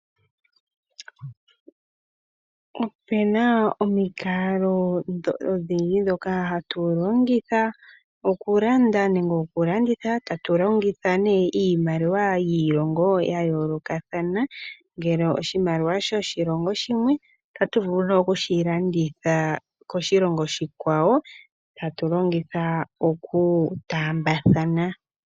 Opuna omikalo odhindji ndhoka hatu longitha okulanda nenge okulanditha tatu longitha ne iimaliwa yiilongo ya yoolokathana ngele oshimaliwa shoshilongo shimwe otatu vulu ne okushilongitha koshilongo oshikwawo tatu longitha okutaambathana.